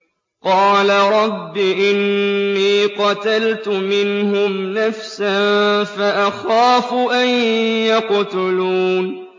قَالَ رَبِّ إِنِّي قَتَلْتُ مِنْهُمْ نَفْسًا فَأَخَافُ أَن يَقْتُلُونِ